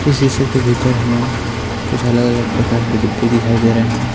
इस तस्वीर के भीतर हमें कुछ अलग-अलग प्रकार के डिब्बे दिखाई दे रहें हैं।